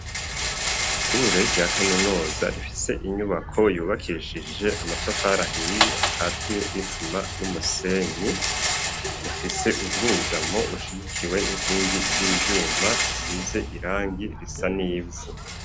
Ishure rya kaminuza, rifise inyubako, yubakishije amatafari ahiye, akatiye n'isima n'umusenyi; rifise ubwugamo, bushigikiwe n'inkingi z'ivyuma, zisize irangi, risa n’ivu.